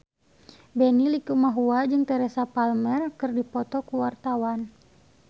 Benny Likumahua jeung Teresa Palmer keur dipoto ku wartawan